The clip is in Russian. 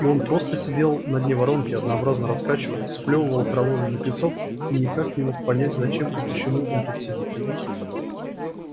и он просто сидел на дне воронки однообразно раскачиваясь сплёвывал окровавленный песок и никак не мог понять зачем и почему он тут сидит